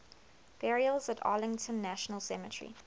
burials at arlington national cemetery